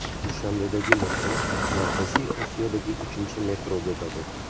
Dushanbedagi metro Markaziy Osiyodagi uchinchi metro bo‘ladi.